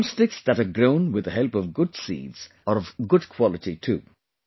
Drum sticks that are grown with the help of good seeds are of good quality too